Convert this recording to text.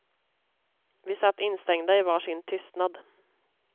Vi satt instängda i var sin tystnad.